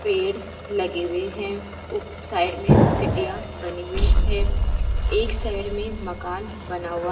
पेड़ लगे हुए हैं उप साइड में सीढ़िया बनी हुई है एक साइड में मकान बना हुआ --